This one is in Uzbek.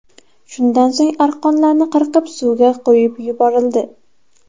Shundan so‘ng arqonlarni qirqib, suvga qo‘yib yuborildi.